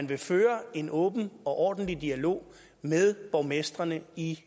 vil føre en åben og ordentlig dialog med borgmestrene i